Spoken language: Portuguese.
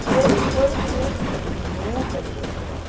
E ele foi uma criança que nunca me deu trabalho.